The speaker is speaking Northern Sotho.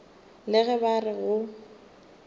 le ge ba re go